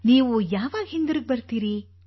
ನೀವು ಯಾವಾಗ ಹಿಂದಿರುಗಿ ಬರುತ್ತೀರಿ